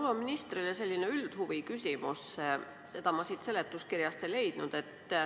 Mul on ministrile selline üldhuviküsimus, seda ma siit seletuskirjast ei leidnud.